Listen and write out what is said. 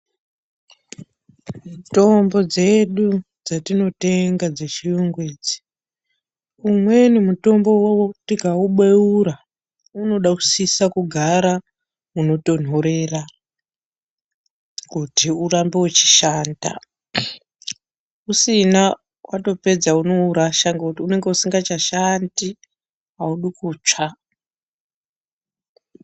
Mitombo dzedu dzatinotenga dzechiuyungu idzi umweni mutombo tikaubeura unosisa kugara munotonhorera kuti urambe uchishanda usina watopedza unourasha nekuti unenge usingachashandi haudi kutsva.